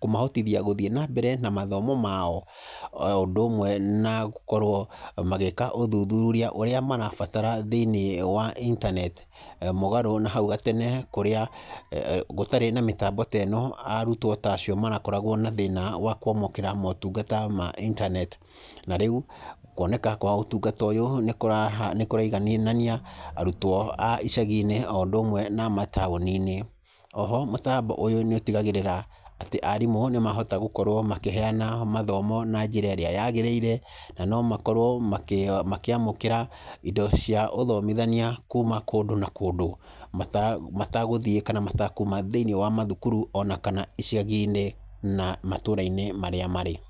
kũmahotithia gũthiĩ na mbere na mathomo mao, na ũndũ ũmwe na gũkorwo magĩka ũthuthuria ũrĩa marabatara thĩiniĩ wa intaneti, mũgarũ na hau kabere kũrĩa gũtarĩ na mĩtambo ta ĩno arutwo ta acio marakoragwo na thĩna wa kwamũkĩra motungata ma intaneti, na rĩu kuoneka kwa ũtungata ta ũyũ nĩkũraiganania arutwo a icagi-inĩ o ũndũ ũmwe na amataũni-inĩ. Oho mũtambo ũyũ nĩ ũtigagĩra atĩ arimũ nĩmahota gũkorwo makĩheyana mathomo na njĩra ĩrĩa yagĩrĩire, na no makorwo makĩamũkĩra indo cia ũthomithania kuma kũndũ na kũndũ, matagũthiĩ kana matakuma thĩiniĩ wa mathukuru kana icagi-inĩ na matũra-inĩ marĩa marĩ.